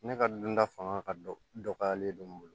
Ne ka dunta fanga ka dɔgɔyalen don n bolo